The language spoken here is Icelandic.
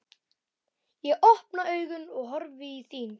Ég opna augun og horfi í þín.